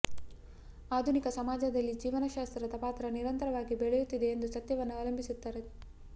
ಆಧುನಿಕ ಸಮಾಜದಲ್ಲಿ ಜೀವಶಾಸ್ತ್ರದ ಪಾತ್ರ ನಿರಂತರವಾಗಿ ಬೆಳೆಯುತ್ತಿದೆ ಎಂದು ಸತ್ಯವನ್ನು ಅವಲಂಬಿಸಿರುತ್ತದೆ